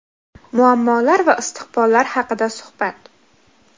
muammolar va istiqbollar haqida suhbat.